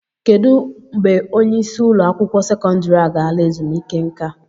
Kedụ mgbe onye isi ụlọ akwụkwọ sekọndrị a ga-ala ezumike nka?